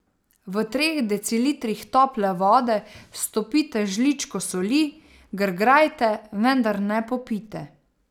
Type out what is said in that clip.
V treh decilitrih tople vode stopite žličko soli, grgrajte, vendar ne popijte.